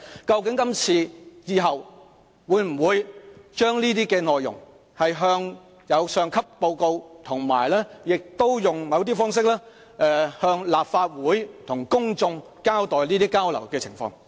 究竟今次或以後會否將相關的內容向上級報告，以及用某種方式透過立法會向公眾交代交流的情況？